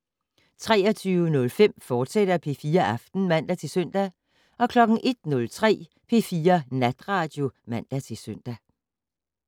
23:05: P4 Aften, fortsat (man-søn) 01:03: P4 Natradio (man-søn)